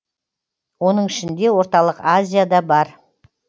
оның ішінде орталық азия да бар